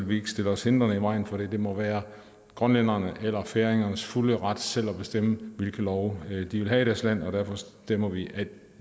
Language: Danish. vi ikke stille os hindrende i vejen for det det må være grønlændernes eller færingernes fulde ret selv at bestemme hvilke love de vil have i deres land og derfor stemmer vi